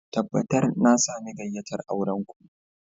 Tabbatar na sami gayyatar auren ku